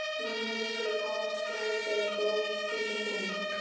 Nonni rekur upp háan skræk eða gól eins og kona.